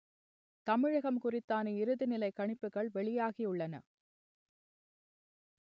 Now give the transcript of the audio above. தமிழகம் குறித்தான இறுதிநிலை கணிப்புகள் வெளியாகியுள்ளன